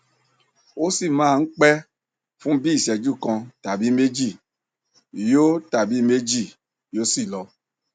ó sì máa ń pẹ fún bí i ìṣẹjú kan tàbí méjì yóò tàbí méjì yóò sì lọ